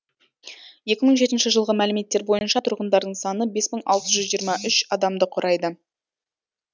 екі мың жетінші жылғы мәліметтер бойынша тұрғындарының саны бес мың алты жүз жиырма үш адамды құрайды